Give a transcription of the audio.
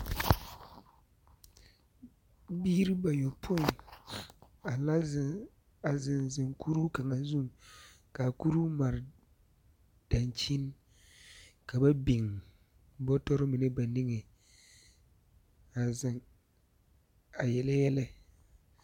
Biiri bayopõi a la zeŋ, a zeŋzeŋ kuruu kaŋa zuŋ ka a kuruu mare daŋkyini ka ba biŋ bɔtɔre mine ba niŋeŋ a zeŋ a yele yɛlɛ.